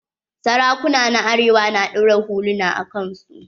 Sarakuna na arewa na ɗaura huluna a kan su.